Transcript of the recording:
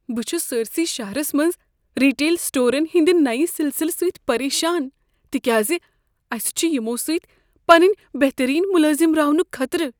بہٕ چھس سٲرِسٕے شہرس منٛز ریٹیل سٹورن ہنٛدِ نو سلسلہٕ سۭتۍ پریشان، تکیاز اسہ چھ یمو سۭتۍ پنٛنہ بہترین ملٲزم راونک خطرٕ۔